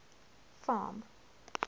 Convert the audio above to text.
farm